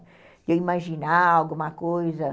Eu ia imaginar alguma coisa.